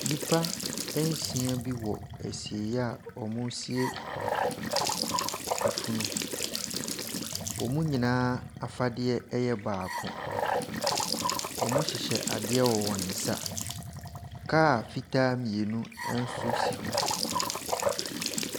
Nnipa nsia bi wɔ ɛsieyɛ a wɔresie ɛfunu. Wɔn nyinaa afadeɛ yɛ baako. Wɔhyehyɛ adeɛ wɔ wɔnsa. Car fitaa mmienu ɛnso si hɔ.